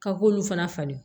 Ka k'olu fana falen